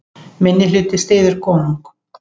Minnihluti styður konung